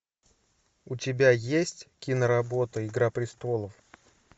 у тебя есть киноработа игра престолов